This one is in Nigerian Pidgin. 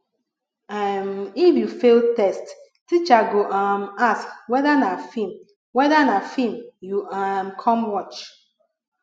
um if you fail test teacher go um ask whether na film whether na film you um come watch